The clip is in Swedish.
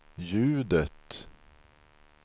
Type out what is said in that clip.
ljudet